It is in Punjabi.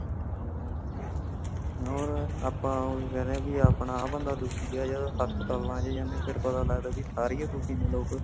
ਹੋਰ ਆਪਾ ਉਹ ਕੇਂਦੇ ਬੀ ਆਪਣਾ ਬੰਦਾ ਦੁਖੀ ਹਾ ਹਸਪਤਾਲ ਆਂਦੇ ਜਾਂਦੇ ਤੇ ਪਤਾ ਲੱਗਦਾ ਕੀ ਸਾਰੇ ਹੀ ਦੁਖੀ ਨੇ ਲੋਗ।